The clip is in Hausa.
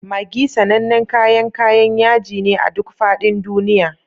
Maggi sanannen kayan kayan yaji ne a duk faɗin duniya.